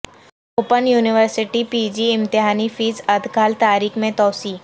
open university P G امتحانی fee ادخال تاریخ میں توسیع